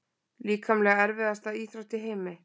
Líkamlega erfiðasta íþrótt í heimi?